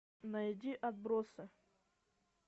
найди отбросы